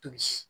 Tobi